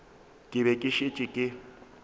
ke be ke šetše ke